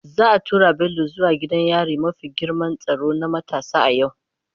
Za a tura Bello zuwa gidan yari mafi girman tsaro na matasa a yau.